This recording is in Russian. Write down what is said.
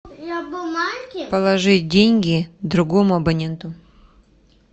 положить деньги другому абоненту